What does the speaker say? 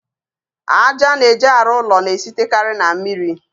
Aja a na-eji arụ ụlọ na-esitekarị na mmiri.